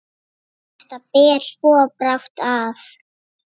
Þetta ber svo brátt að.